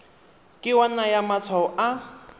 ke wa naya matshwao a